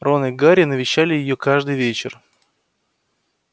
рон и гарри навещали её каждый вечер